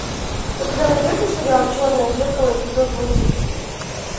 у тебя найдется сериал черное зеркало эпизод восемь